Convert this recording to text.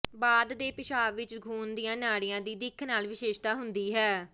ਬਾਅਦ ਦੇ ਪਿਸ਼ਾਬ ਵਿਚ ਖੂਨ ਦੀਆਂ ਨਾੜੀਆਂ ਦੀ ਦਿੱਖ ਨਾਲ ਵਿਸ਼ੇਸ਼ਤਾ ਹੁੰਦੀ ਹੈ